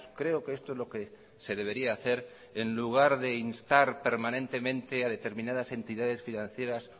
creo que esto es lo que se debería hacer en lugar de instar permanentemente a determinadas entidades financieras